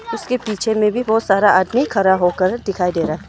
उसके पीछे में भी बहुत सारा आदमी खड़ा होकर दिखाई दे रहा।